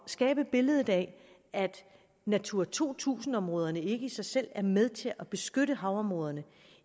skabe et billede af at natura to tusind områderne ikke i sig selv er med til at beskytte havområderne